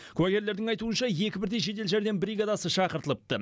куәгерлердің айтуынша екі бірдей жедел жәрдем бригадасы шақыртылыпты